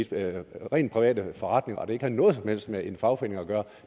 det rent private forretninger der ikke har noget som helst med en fagforening at gøre